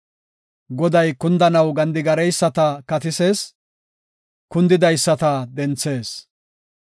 Goday kundanaw gedgadeyisata katisees; kundidaysata denthees.